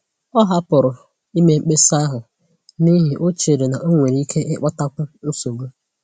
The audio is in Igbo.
Ọ hapụrụ ime mkpesa ahụ n'ihi o chere n'onwere ike ịkpatakwu nsogbu